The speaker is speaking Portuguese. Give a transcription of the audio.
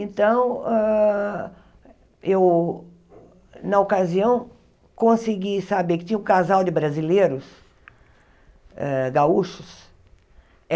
Então hã, eu, na ocasião, consegui saber que tinha um casal de brasileiros hã gaúchos.